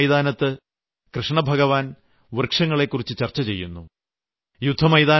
കുരുക്ഷേത്ര യുദ്ധ മൈതാനത്ത് കൃഷ്ണഭഗവാൻ വൃക്ഷങ്ങളെക്കുറിച്ച് ചർച്ച ചെയ്യുന്നു